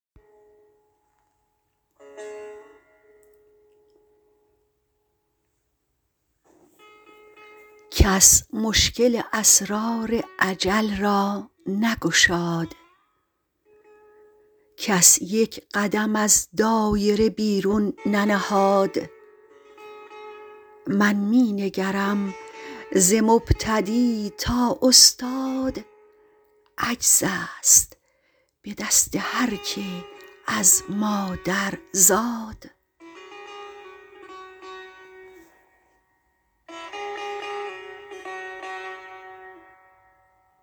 کس مشکل اسرار اجل را نگشاد کس یک قدم از دایره بیرون ننهاد من می نگرم ز مبتدی تا استاد عجز است به دست هرکه از مادر زاد